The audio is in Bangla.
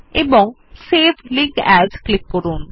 এবং সেভ লিঙ্ক এএস ক্লিক করুন